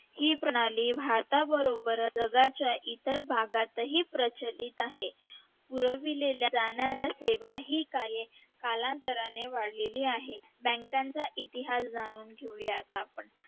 हे प्रणाली भारताबरोबरच जगाच्या इतरही भागातही प्रचलित आहे पुरविल्या जाणाऱ्या सेवा ही कार्य कालांतराने वाढलेली आहे bank चा इतिहास जाणून घेऊया आता आपण